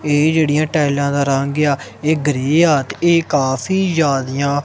ਇਹ ਜਿਹੜੀਆਂ ਟਾਈਲਾਂ ਦਾ ਰੰਗ ਆ ਇਹ ਗ੍ਰੇ ਆ ਤੇ ਇਹ ਕਾਫੀ ਜਿਆਦੀਆਂ--